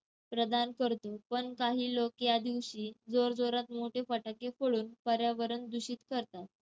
प्रदान करतो, पण काही लोक या दिवशी जोरजोरात मोठे फटाके फोडून पर्यावरण दूषित करतात.